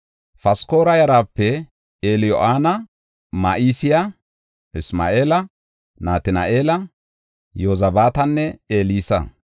Paskora yarape Eliyo7anaya, Ma7iseya, Isma7eela, Natina7eela, Yozabaatanne Elsi.